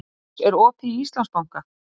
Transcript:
Rós, er opið í Íslandsbanka?